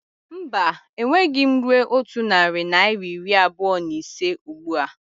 Mba, enweghị m rue otu narị naira iri abụọ na ise ụgbụa